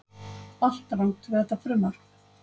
Allt rangt við þetta frumvarp